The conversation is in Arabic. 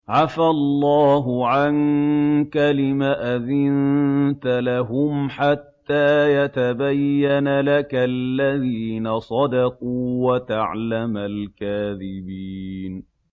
عَفَا اللَّهُ عَنكَ لِمَ أَذِنتَ لَهُمْ حَتَّىٰ يَتَبَيَّنَ لَكَ الَّذِينَ صَدَقُوا وَتَعْلَمَ الْكَاذِبِينَ